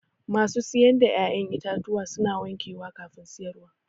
Masu siyar da ƴa'ƴan itatuwa suna wankewa kafin siyarwa